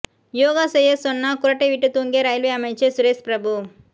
யோகா செய்யச் சொன்னா குறட்டை விட்டு தூங்கிய ரயில்வே அமைச்சர் சுரேஷ் பிரபு